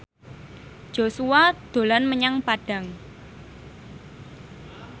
Joshua dolan menyang Padang